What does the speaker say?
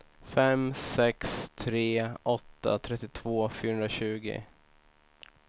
fem sex tre åtta trettiotvå fyrahundratjugo